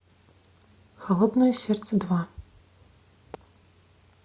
холодное сердце два